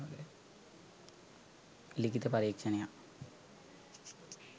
ලිඛිත පරීක්‍ෂණයක්